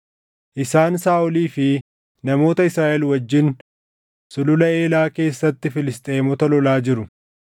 Isaan Saaʼolii fi namoota Israaʼel wajjin Sulula Elaa keessatti Filisxeemota lolaa jiru.”